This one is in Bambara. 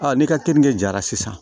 ne ka keninke jara sisan